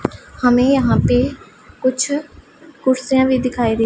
हमें यहां पे कुछ कुर्सियां भी दिखाई दे--